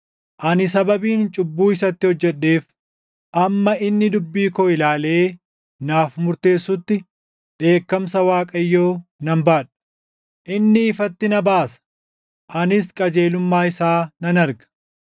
Ani sababiin cubbuu isatti hojjedheef, hamma inni dubbii koo ilaalee naaf murteessutti dheekkamsa Waaqayyoo nan baadha. Inni ifatti na baasa; anis qajeelummaa isaa nan arga.